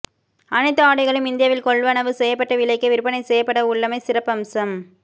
அனைத்து ஆடைகளும் இந்தியாவில் கொள்வனவு செய்யப்பட்ட விலைக்கே விற்பனை செய்யப்படவுள்ளமை சிறப்பம்சம்